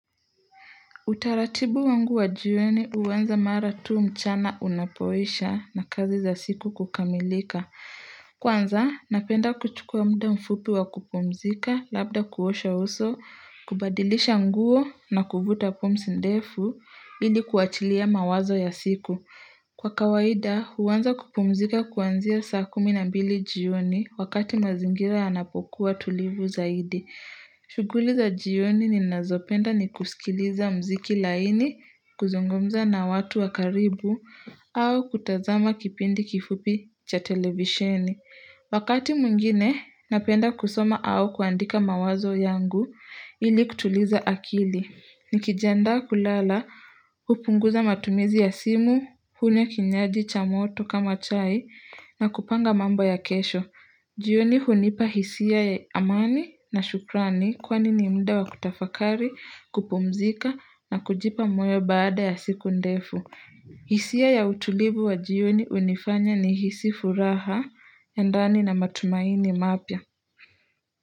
Utaratibu wangu wa jioni huanza mara tu mchana unapoisha na kazi za siku kukamilika. Kwanza, napenda kuchukua muda mfupi wa kupumzika, labda kuosha uso, kubadilisha nguo na kuvuta pumsi ndefu, ili kuachilia mawazo ya siku. Kwa kawaida, huanza kupumzika kwanzia saa kumi na mbili jioni wakati mazingira yanapokuwa tulivu zaidi. Shughuli za jioni ninazopenda ni kusikiliza mziki laini, kuzungumza na watu wa karibu au kutazama kipindi kifupi cha televisheni. Wakati mwingine, napenda kusoma au kuandika mawazo yangu ili kutuliza akili. Nikijandaa kulala, hupunguza matumizi ya simu, hunywa kinyaji cha moto kama chai na kupanga mambo ya kesho. Jioni hunipa hisia ya amani na shukrani kwani ni mda wa kutafakari, kupumzika na kujipa mweo baada ya siku ndefu. Hisia ya utulivu wa jioni hunifanya nihisi furaha ya ndani na matumaini mapya.